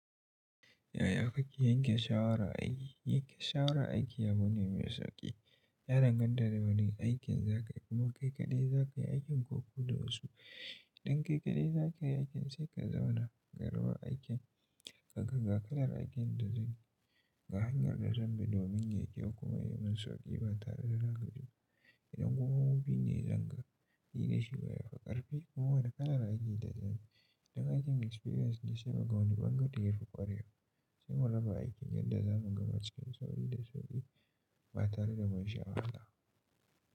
Yaya kake yanke shawara aiki? Yanke shawara aiki abu ne mai sauƙi. Ya danganta da wane aikin za kai kuma kai kaɗai za kai aikin ko ku da wasu. Idan kai kaɗai za ka yi aikin sai ka zauna ka raba aikin ka kaga kalar aikin da zai ga hanyar da zan bi domin yai kyau ya yi min sauƙi ba tare da zanga ba. Idan kuma wuri ne zan ga hira da shi baya ƙarfi kuma wada kalar aikin da zan yi. Idan aikin experience ne sai mu ga wani bangare yafi ƙwarewa sai mu raba aikin yadda zamu gabatar da sauri da sauƙi ba tare da mun sha wahala.